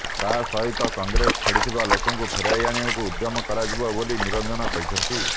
ତା ସହିତ କଂଗ୍ରେସ ଛାଡ଼ିଥିବା ଲୋକଙ୍କୁ ଫେରାଇ ଆଣିବାକୁ ଉଦ୍ୟମ କରାଯିବ ବୋଲି ନିରଞ୍ଜନ କହିଛନ୍ତି